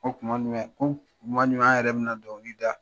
Ko kuma jumɛn? ko kuma jumɛn an yɛrɛ be na dɔnkili da ?